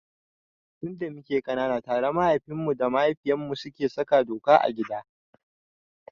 Tun da muke ƙanana tare mahaifinmu da mahaifiyartmu suke saka doka a gida.